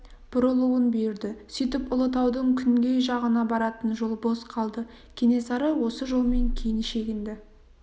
бұрылуын бұйырды сөйтіп ұлытаудың күнгей жағына баратын жол бос қалды кенесары осы жолмен кейін шегінді